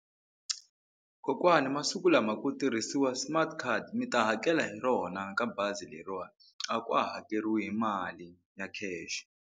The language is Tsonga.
Kokwani masiku lama ku tirhisiwa smart card mi ta hakela hi rona ka bazi leriwani a ka ha hakeriwi hi mali ya cash.